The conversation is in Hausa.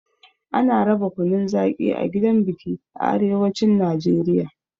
Ana raba kunun zaƙi a gidan biki a arewacin Najeriya.